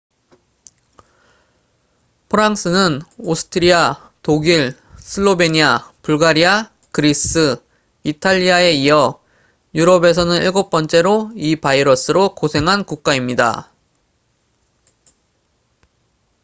프랑스는 오스트리아 독일 슬로베니아 불가리아 그리스 이탈리아에 이어 유럽에서는 7번째로 이 바이러스로 고생한 국가입니다